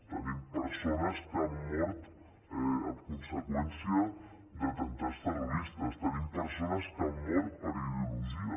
tenim persones que han mort a conseqüència d’atemptats terroristes tenim persones que han mort per ideologia